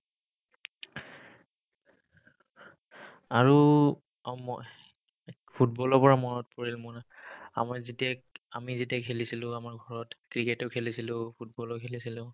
আৰু অ মই ফুটবলৰ পৰা মনত পৰিল মোৰ আমাৰ যেতিয়া আমি যেতিয়া খেলিছিলো আমাৰ ঘৰত ক্ৰিকেটো খেলিছিলো, ফুটবলো খেলিছিলো